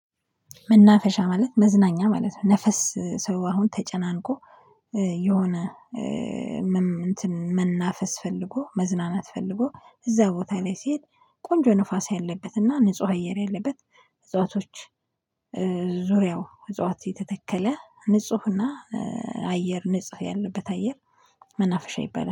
መናፈሻ ማለት መዝናኛ ማለት ነው። ሰው አሁን ተጨናንቆ የሆነ መናፈስ ፈልጎ መዝናናት ፈልጎ እዛ ቦታ ላይ ሲሄድ ቆንጆ ንፋስ ያለበትና ንጹህ አየር ያለበት እጽዋቶች። ዙሪያው እፅዋት የተተከለ ንጹህ እና አየር ንጹህ ያለበት አየር መናፍሻ ይባላል